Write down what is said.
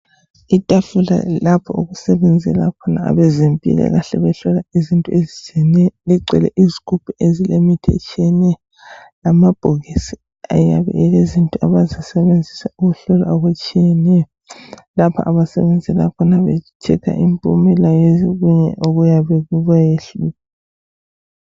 Itafula lapho okusebenzela khona abezempilakahle behlola izinto ezitshiyeneyo ligcwele izigubhu ezilemithi etshiyeneyo lamabhokisi ayabe elezinto abazisebenzisa ukuhlola okutshiyeneyo lapha abasebenzela khona be checker impumela yokunye okuyabe kubayehlule